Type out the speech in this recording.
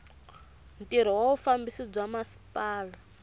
ntirho wa vufambisi bya masipala